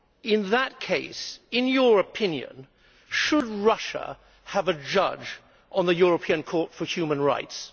In that case, in your opinion, should Russia have a judge on the European Court for Human Rights?